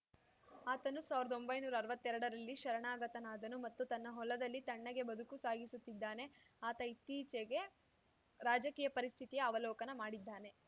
ಆತನು ಸಾವ್ರ್ದದೊಂಭೈನೂರಾ ಅರ್ವತ್ತೆರಡರಲ್ಲಿ ಶರಣಾಗತನಾದನು ಮತ್ತು ತನ್ನ ಹೊಲದಲ್ಲಿ ತಣ್ಣಗೆ ಬದುಕು ಸಾಗಿಸುತ್ತಿದ್ದಾನೆ ಆತ ಇತ್ತೀಚೆಗೆ ರಾಜಕೀಯ ಪರಿಸ್ಥಿತಿಯ ಅವಲೋಕನ ಮಾಡಿದ್ದಾನೆ